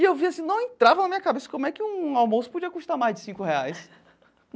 E eu vi assim, não entrava na minha cabeça como é que um almoço podia custar mais de cinco reais.